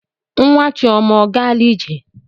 Nwa Chioma ọ gaala ije?